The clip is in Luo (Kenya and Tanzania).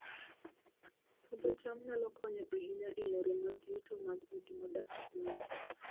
Puodho cham nyalo konyo ahinya e yore mag yuto mag udi modak e gwenge